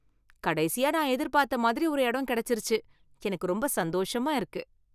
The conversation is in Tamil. கடைசியா நான் எதிர்பார்த்த மாதிரி ஒரு இடம் கிடைச்சுருச்சு, எனக்கு ரொம்ப சந்தோஷமா இருக்கு.